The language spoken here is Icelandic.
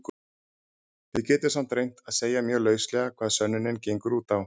Við getum samt reynt að segja mjög lauslega hvað sönnunin gengur út á.